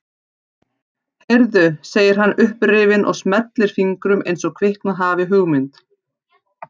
Heyrðu, segir hann upprifinn og smellir fingrum eins og kviknað hafi hugmynd.